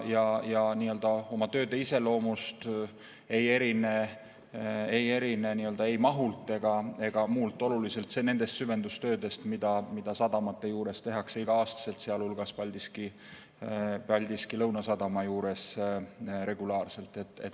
Need tööd oma iseloomult ei erine ei mahult ega muus osas oluliselt nendest süvendustöödest, mida sadamate juures tehakse igal aastal, sealhulgas Paldiski Lõunasadama juures regulaarselt.